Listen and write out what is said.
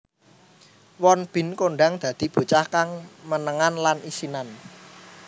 Won Bin kondhang dadi bocah kang menengan lan isinan